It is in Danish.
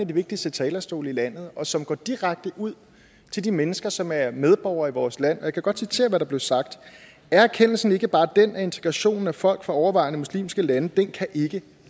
de vigtigste talerstolen i landet og som går direkte ud til de mennesker som er medborgere i vores land jeg vil godt citere hvad der blev sagt og er erkendelsen så ikke bare den at integrationen af folk fra overvejende muslimske lande ikke kan